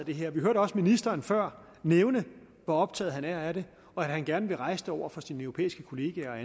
det her vi hørte også ministeren før nævne hvor optaget han er af det og at han gerne vil rejse det over for sine europæiske kollegaer og